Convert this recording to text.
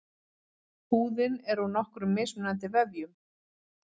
Húðin er úr nokkrum mismunandi vefjum.